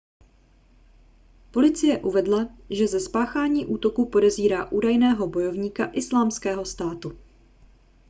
policie uvedla že ze spáchání útoku podezírá údajného bojovníka islámského státu